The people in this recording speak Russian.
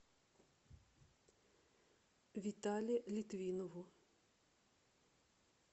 витале литвинову